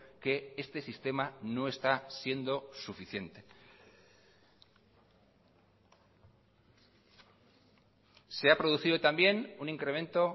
que este sistema no está siendo suficiente se ha producido también un incremento